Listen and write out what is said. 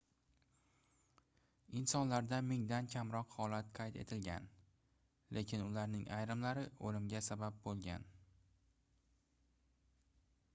insonlarda mingdan kamroq holat qayd etilgan lekin ularning ayrimlari oʻlimga sabab boʻlgan